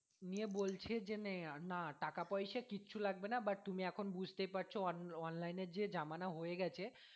নিয়ে বলছে যে নেই না টাকা পয়সা কিছু লাগবে না but তুমি এখন বুঝতেই পারছো online এ যে জামানা হয়ে গেছে